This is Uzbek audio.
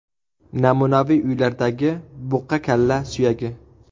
Namunaviy uylardagi buqa kalla suyagi.